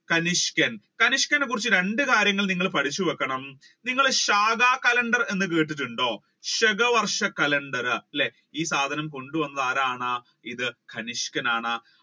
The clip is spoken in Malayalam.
തരിഷ്ക്കൻ തരിഷ്‌ക്കനേ കുറിച്ച രണ്ട് കാര്യങ്ങൾ നിങ്ങൾ പഠിച്ചു വെക്കണം നിങ്ങൾ ശാഖാ calender എന്ന് കേട്ടിട്ടുണ്ടോ ശകവർഷ calender അല്ലെ ഈ സാധനം കൊണ്ട് വന്നത് ആരാണ് തനിഷ്‌ക്കൻ ആണ്.